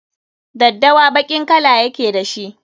Daddawa baƙin kala ya ke da shi.